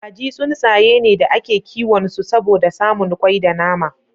Kaji tsuntsaye ne da ake kiwon su saboda samun kwai da nama.